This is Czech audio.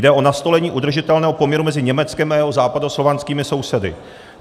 Jde o nastolení udržitelného poměru mezi Německem a jeho západoslovanskými sousedy.